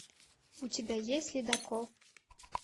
у тебя есть ледокол